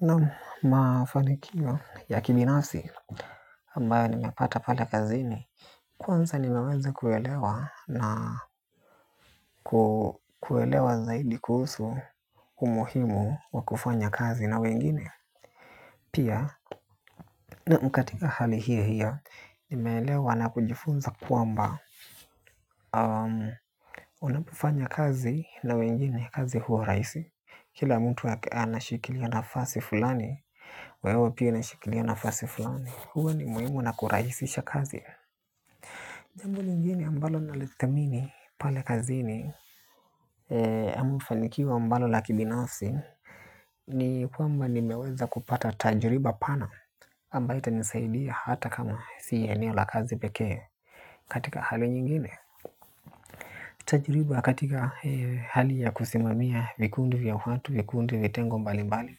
Naam mafanikio ya kibinafsi ambayo nimepata pale kazini. Kwanza nimeweze kuelewa na kuelewa zaidi kuhusu umuhimu wa kufanya kazi na wengine. Pia naam katika hali hiyo hiyo nimeelewa na kujifunza kwamba onapofanya kazi na wengine kazi huwa rahisi. Kila mtu wapea na shikilia nafasi fulani. Wewe pia na shikilia nafasi fulani huwa ni muhimu na kurahisisha kazi. Jambo lingine ambalo nalo lidhamini pale kazini. Ama ufanikiwa ambalo la kibinafsi. Ni kwamba nimeweza kupata tajriba pana ambaye itanisaidia hata kama si eneo la kazi pekee. Katika hali nyingine tajriba katika hali ya kusimamia vikundi vya watu vikundi vitengo mbali mbali.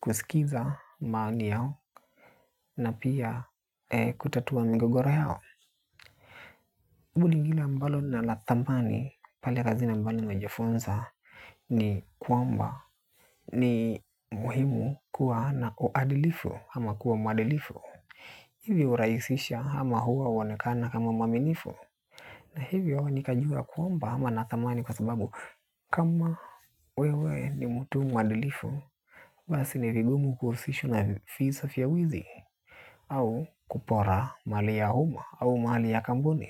Kusikiza maoni yao na pia kutatua migogoro yao. Mbuni lingine ambalo ni la dhamani pali kazini ambalo nimejifunza ni kwamba ni muhimu kuwa na uadilifu ama kuwa mwadilifu. Hivi hurahisisha ama huwa huonekana kama mwaminifu. Na hivyo ni kajua kwamba wana dhamani kwa sababu kama wewe ni mtu mwadilifu. Basi ni vigumu kuhusishwa na visa vya wizi. Au kupora mali ya uma au mali ya kampuni.